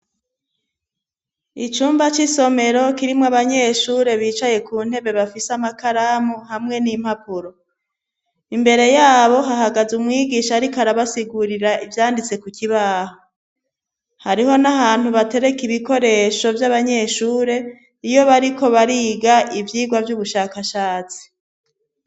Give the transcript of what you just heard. Icumba c'isomero kirimo abanyeshure bicaye ku ntebe bafise amakaramu hamwe n'impapuro imbere yabo hahagaze umwigisha ariko arabasigurira ibyanditse ku kibaho hariho n'ahantu batereka ibikoresho by'abanyeshure iyo bariko bariga ibyigwa by'ubushakashatsi.